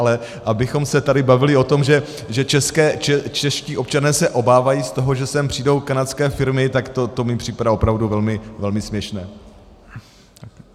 Ale abychom se tady bavili o tom, že čeští občané se obávají z toho, že sem přijdou kanadské firmy, tak to mi připadá opravdu velmi směšné.